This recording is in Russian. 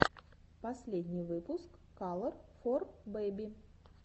последний выпуск калор фор бэби